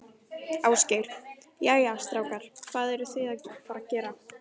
Ásgeir: Jæja, strákar, hvað eruð þið að fara að gera?